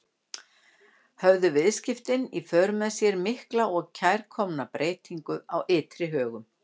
Höfðu vistaskiptin í för með sér mikla og kærkomna breytingu á ytri högum.